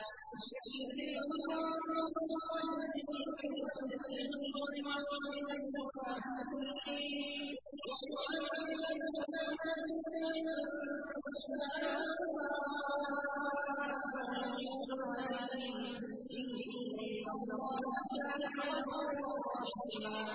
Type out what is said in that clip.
لِّيَجْزِيَ اللَّهُ الصَّادِقِينَ بِصِدْقِهِمْ وَيُعَذِّبَ الْمُنَافِقِينَ إِن شَاءَ أَوْ يَتُوبَ عَلَيْهِمْ ۚ إِنَّ اللَّهَ كَانَ غَفُورًا رَّحِيمًا